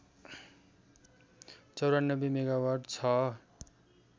९४ megawatt छ